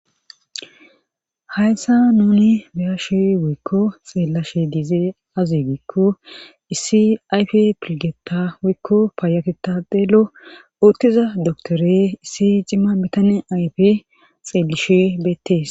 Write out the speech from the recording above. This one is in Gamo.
hayssa nuni beyashu wuykko xeellashi diizee azi giikko issi ayf pilgeta wuykko paayaketadelo uttiza doktore issi cimma mitane ayfe xeellishuy beettees